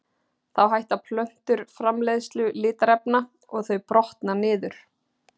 Þá hætta plöntur framleiðslu litarefna og þau brotna niður.